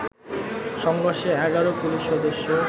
সংঘর্ষে১১ পুলিশ সদস্য